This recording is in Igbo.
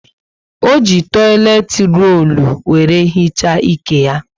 ọ jị toileti rollu were hichaa ike ya